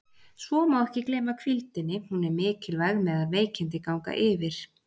Svo má ekki gleyma hvíldinni, hún er mikilvæg meðan veikindi ganga yfir.